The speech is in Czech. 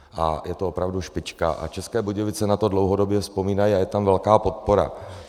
A je to opravdu špička a České Budějovice na to dlouhodobě vzpomínají a je tam velká podpora.